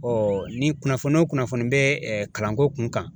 ni kunnafoni o kunnafoni bɛ kalanko kun kan.